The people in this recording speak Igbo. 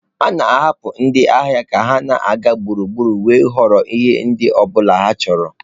A na-ahapụ ndị ahịa ka ha na-aga gburugburu wee họrọ ihe ọ bụla ha chọrọ ịzụ.